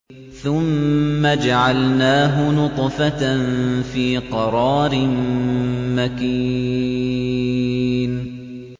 ثُمَّ جَعَلْنَاهُ نُطْفَةً فِي قَرَارٍ مَّكِينٍ